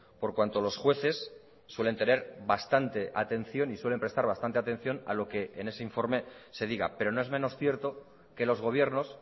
por cuanto los jueces suelen tener bastante atención y suelen prestar bastante atención a lo que en ese informe se diga pero no es menos cierto que los gobiernos